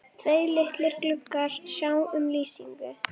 Tveir litlir gluggar sjá um lýsingu